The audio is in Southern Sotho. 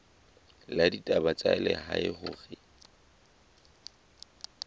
la ditaba tsa lehae hore